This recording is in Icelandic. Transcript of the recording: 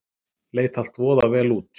Leit allt voða vel út.